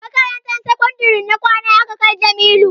Makarantar sakandare ta kwana aka kai Jamilu